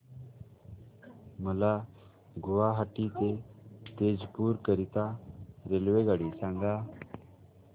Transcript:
मला गुवाहाटी ते तेजपुर करीता रेल्वेगाडी सांगा